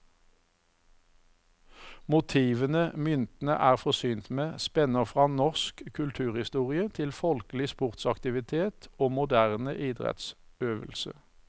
Motivene myntene er forsynt med, spenner fra norsk kulturhistorie til folkelig sportsaktivitet og moderne idrettsøvelse.